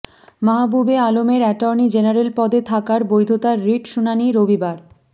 মাহবুবে আলমের attorney general পদে থাকার বৈধতার রিট শুনানি রবিবার